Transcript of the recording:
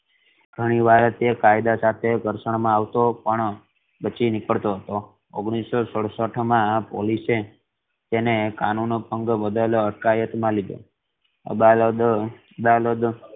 ઘણી વાર તે કાયદા સાથે ઘર્ષણ મા આવતો પણ બચી નીકળતો હતો ઓગણીસો સડસઠ મા પોલીસે એ તેને કાનૂન ભંગ બદલ હડકાયત મા લીધો અદાલત અ અદાલદ